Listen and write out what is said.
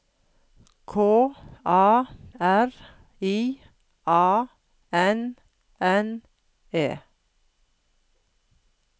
K A R I A N N E